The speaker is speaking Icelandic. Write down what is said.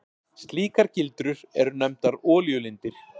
Slíkar gildrur eru nefndar olíulindir.